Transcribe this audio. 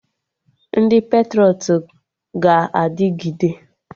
Ndị patrọịt ga-adịgide